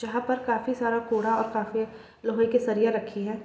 जहां पे काफी सारा कूड़ा और काफी लोहे की सरिया रखी हैं।